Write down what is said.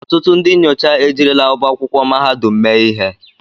Ọtụtụ ndị nyocha ejirila ọba akwụkwọ mahadum mee ihe.